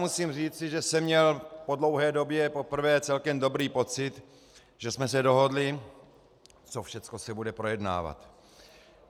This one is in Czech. Musím říci, že jsem měl po dlouhé době poprvé celkem dobrý pocit, že jsme se dohodli, co všechno se bude projednávat.